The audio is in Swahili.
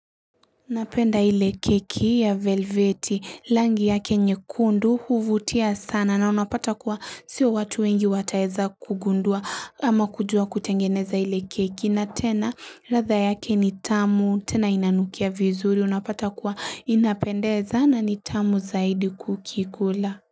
Napenda hile keki ya velvete langi yake nyekundu huvutia sana na unapata kuwa sio watu wengi wataeza kugundua ama kujua kutengeneza hile keki na tena ratha yake nitamu tena inanukia vizuri unapata kuwa inapendeza na nitamu zaidi kukikula.